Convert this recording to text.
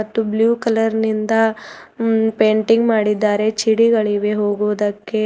ಮತ್ತು blue colour ನಿಂದ ಹ್ಮ್ಮ್ ಪೇಂಟಿಂಗ್ ಮಾಡಿದ್ದಾರೆ ಛಿಡಿಗಳಿವೆ ಹೋಗುವುದಕ್ಕೆ.